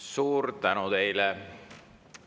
Suur tänu teile!